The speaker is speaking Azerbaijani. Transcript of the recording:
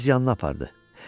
Birini öz yanına apardı.